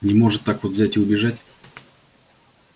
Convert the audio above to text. не может так вот взять и убежать